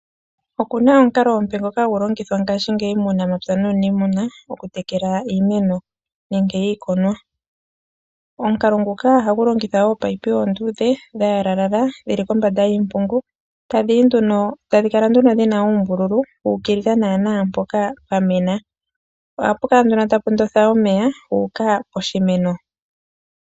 Oku na omukalo omupe ngoka hagu longithwa ngashingeyi muunamapya nuuniimuna okutekela iimeno nenge iikunwa. Omukalo nguka ohagu longitha wo oopaipi oonduudhe dha yalalala dhili kombanda yiimpungu, tadhi yi nduno tadhi kala nduno dhi na uumbululu wu ukilila naanaa mpoka pwa mena. Ohapu kala nduno tapu ndotha omeya gu uka poshimeno.